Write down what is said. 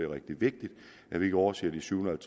rigtig vigtigt at vi ikke overser de syvhundrede og